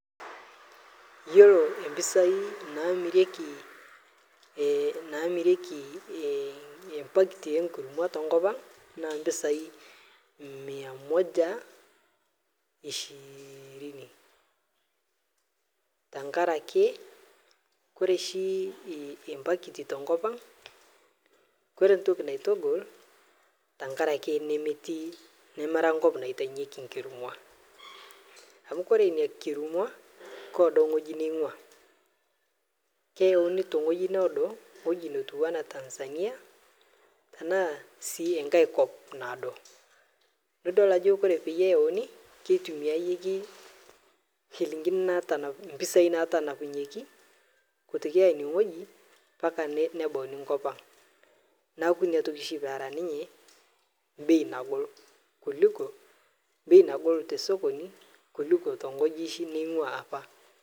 Yiolo empisai naamiriki ee packet enkurma tee nkop ang naaa mpisai mia Moja ishirini tenkaraki ore oshi ee packet tenkop ang ore entoki naitagol tenkaraki nemera enkop naitawunyieki ena kurma amu ore ena kurma keedo ewueji ningua keyawuni tewueji niado ewueji naijio Tanzania naa sii enkae kop naado naa edol Edo teneyauni kitumia mpisai natanapunyieki kutoka enewueji mbaka nebawuni enkop Ang neeku enatoki oshi peeta ninye bei nagol tee sokoni kuliko tewueji ningua apa